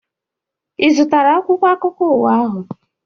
Ị zụtara akwụkwọ akụkọ ụwa ahụ?